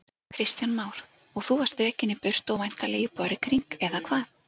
Kristján Már: Og þú varst rekinn í burtu og væntanlega íbúar í kring, eða hvað?